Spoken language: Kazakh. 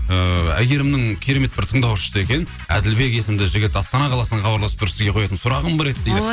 ыыы әйгерімнің керемет бір тыңдаушысы екен әділбек есімді жігіт астана қаласынан хабарласып тұр сізге қоятын сұрағым бар еді дейді